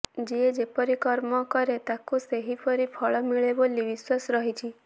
ଯିଏ ଯେପରି କର୍ମ କରେ ତାକୁ ସେହିପରି ଫଳ ମିଳେ ବୋଲି ବିଶ୍ୱାସ ରହିଛି